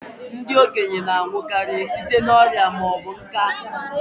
Ndị okenye na-anwụ karị site n'ọrịa ma ọ bụ nká